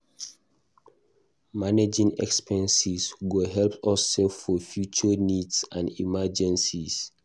Managing expenses go help us save for future needs and emergencies.